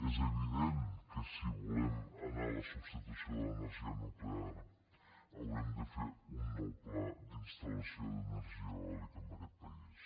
és evident que si volem anar a la substitució de l’energia nuclear haurem de fer un nou pla d’instal·lació d’energia eòlica en aquest país